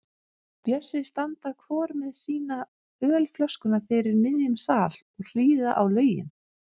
Bjössi standa hvor með sína ölflöskuna fyrir miðjum sal og hlýða á lögin.